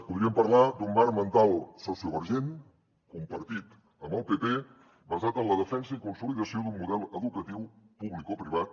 podríem parlar d’un marc mental sociovergent compartit amb el pp basat en la defensa i consolidació d’un model educatiu publicoprivat